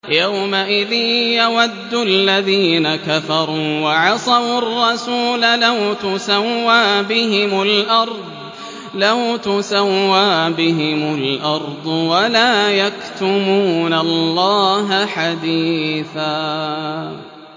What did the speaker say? يَوْمَئِذٍ يَوَدُّ الَّذِينَ كَفَرُوا وَعَصَوُا الرَّسُولَ لَوْ تُسَوَّىٰ بِهِمُ الْأَرْضُ وَلَا يَكْتُمُونَ اللَّهَ حَدِيثًا